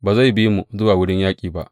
Ba zai bi mu zuwa wurin yaƙi ba.